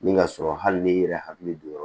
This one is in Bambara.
Ni ka sɔrɔ hali ni i yɛrɛ hakili don yɔrɔ